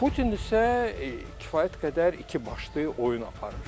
Putin isə kifayət qədər ikibaşlı oyun aparır.